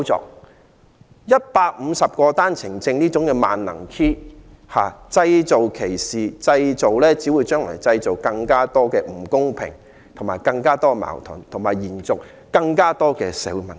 利用每日150個單程證配額這個"萬能 Key"， 製造歧視，到頭來只會製造更多不公平，更多矛盾，延續更多社會問題。